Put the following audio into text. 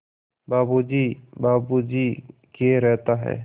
बाबू जी बाबू जी किए रहता है